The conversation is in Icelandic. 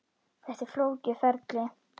Þetta er flókið ferli.